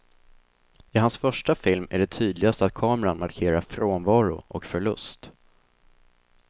I hans första film är det tydligast att kameran markerar frånvaro och förlust.